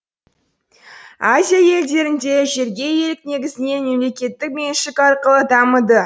азия елдерінде жерге иелік негізінен мемлекеттік меншік арқылы дамыды